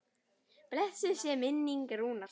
Blessuð sé minning Rúnars.